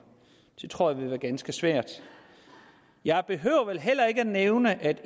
det tror jeg vil være ganske svært jeg behøver vel heller ikke at nævne at